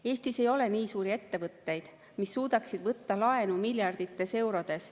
Eestis ei ole nii suuri ettevõtteid, mis suudaksid võtta laenu miljardites eurodes.